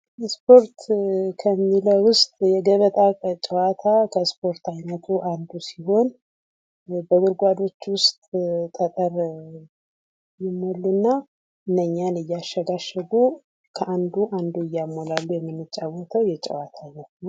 ስፖርት ከሚለው ውስጥ የገበታ ጨዋታ ከስፖርት አንዱ ሲሆን በጉድጓዶች ውስጥ ጠጠር ይሞሉ እና እነዛን እያሸጋሸጉ ከአንዱ አንዱ እያሞላሉ የምንጫወተው የጨዋታ አይነት ነው።